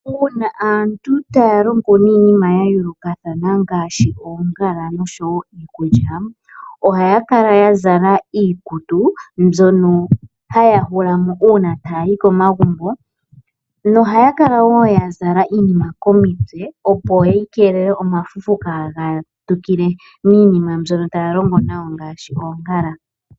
Uuna aantu taya longo niinima ya yoolokathana ngaashi oongala nosho woo iikulya ohaya kala ya zala iikutu mbyono haya hulamo uuna taya yi koma gumbo nohaya kala woo ya zala iinima komitse opo yi keelele oma fufu kaaga tukile miinima mbyono taya longo ngaashi oongala.